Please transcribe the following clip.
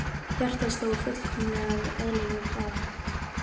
Hjartað sló á fullkomlega eðlilegum hraða.